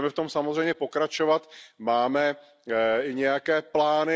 Budeme v tom samozřejmě pokračovat, máme nějaké plány.